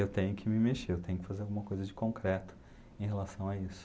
Eu tenho que me mexer, eu tenho que fazer alguma coisa de concreto em relação a isso.